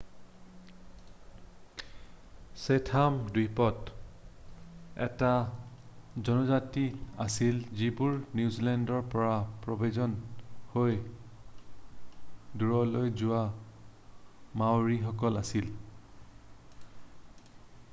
Chatham দ্বীপত অন্য এটা জনজাতি আছিল যিবোৰ নিউজেলেণ্ডৰ পৰা প্ৰব্ৰজন হৈ দূৰলৈ গুচি যোৱা মাওৰি সকল আছিল